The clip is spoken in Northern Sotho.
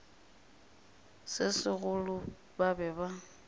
se segolo ba be ba